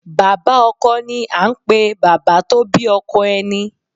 Bàbá Ọkọ ni à n pè Bàbá tó bí ọkọ ẹni